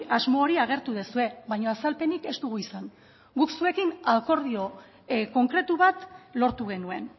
asmo hori agertu duzue baina azalpenik ez dugu izan guk zuekin akordio konkretu bat lortu genuen